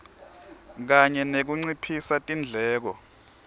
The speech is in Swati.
kanye nekunciphisa tindleko